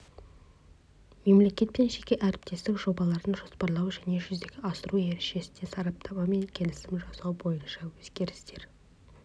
мемлекет пен жеке әріптестік жобаларын жоспарлау және жүзеге асыру ережесіне сараптама мен келісім жасау бойынша өзгерістер